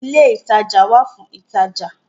ilé ìtajà wà fún ìtajà